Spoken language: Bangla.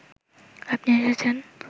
আপনি এসেছেন